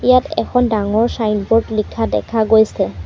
ইয়াত এখন ডাঙৰ ছাইনবোৰ্ড লিখা দেখা গৈছে।